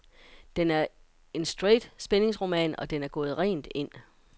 Den er en straight spændingsroman, og den er gået rent ind.